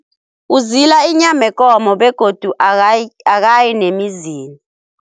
Uzila inyama yekomo begodu akayi nemizini.